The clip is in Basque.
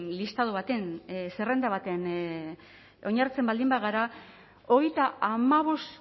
listado baten zerrenda batean oinarritzen baldin bagara hogeita hamabost